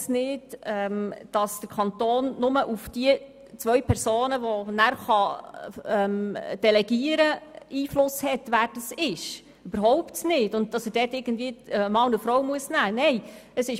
Zudem ist es falsch, dass der Kanton nur Einfluss bei der Wahl der beiden Personen hat, die er delegieren kann und dass er dort einen Mann und eine Frau nehmen müsste.